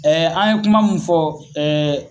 an ye kuma mun fɔ